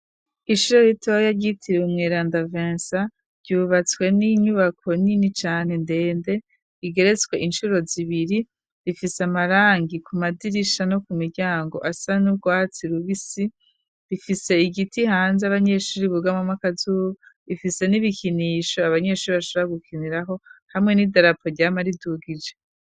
Ishuri ritoya ryitiriwe umweranda vensa, ryubatswe n'inyubako nini cane ndende igeretswe inshuro zibiri, rifise amarangi ku madirisha no ku miryango asa n'ubwatsi rubisi, bifise igiti hanze abanyeshuri bugamwamwo akazuba, bifise n'ibikinisho abanyeshuri bashobora gukiniraho hamwe n'idarapo ryama ridugije.